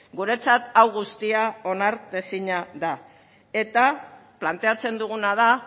guretzat hau guztia onartezina da eta planteatzen duguna da